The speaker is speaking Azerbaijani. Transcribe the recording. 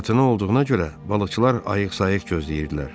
Fırtına olduğuna görə balıqçılar ayıq-sayıq gözləyirdilər.